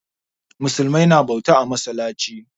Musulmi na bauta a masallaci.